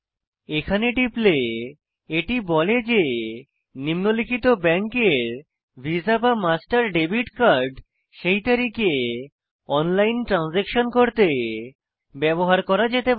এখানে টিপলে এটি বলে যে নিম্নলিখিত ব্যাঙ্কের ভিসামাস্টার কার্ড সেই তারিখে অনলাইন ট্রানসাকশন করতে ব্যবহার করা যেতে পারে